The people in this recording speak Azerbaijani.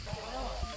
Salam əleyküm.